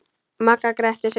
Magga gretti sig.